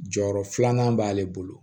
Jɔyɔrɔ filanan b'ale bolo